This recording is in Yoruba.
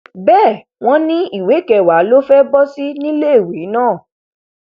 bẹẹ wọn ni ìwé kẹwàá ló fẹẹ bọ sí níléèwé náà